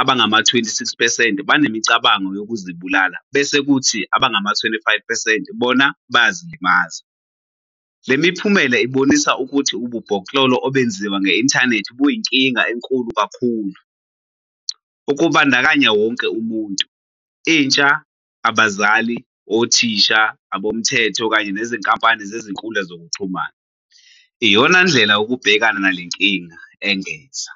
abangama-26 percent banemicabango yokuzibulala bese kuthi abangama-25 percent bona bayazilimaza. "Le miphumela ibonisa ukuthi ububhoklolo obenziwa nge-inthanethi buyinkinga enkulu kakhulu. Ukubandakanya wonke umuntu - intsha, abazali, othisha, abomthetho kanye nezinkampani zezinkundla zokuxhumana - iyonandlela yokubhekana nale nkinga," engeza.